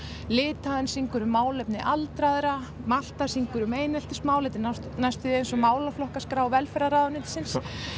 Litháen syngur um málefni aldraðra Malta syngur um eineltismál þetta er næstum eins og velferðarráðuneytisins